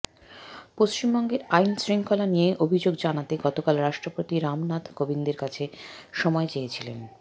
পশ্চিমবঙ্গের আইনশৃঙ্খলা নিয়ে অভিযোগ জানাতে গতকাল রাষ্ট্রপতি রামনাথ কোবিন্দের কাছে সময় চেয়েছিলেন